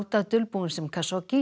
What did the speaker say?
Sáda dulbúinn sem